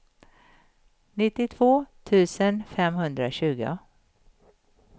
nittiotvå tusen femhundratjugo